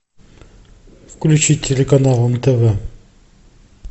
включи телеканал нтв